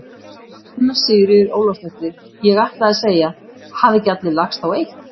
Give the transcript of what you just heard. Anna Sigríður Ólafsdóttir: Ég ætlaði að segja: Hafa ekki allir lagst á eitt?